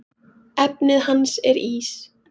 Efnið hans er ís.